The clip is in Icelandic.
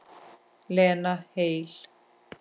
Lena heil.